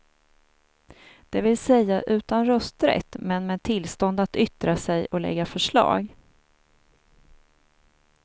Det vill säga utan rösträtt, men med tillstånd att yttra sig och lägga förslag.